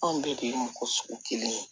Anw bɛɛ de ye mɔgɔ sugu kelen ye